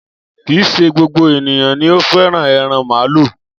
Kìí ṣe gbogbo ènìyàn ni o fẹ́ràn ẹran màálù.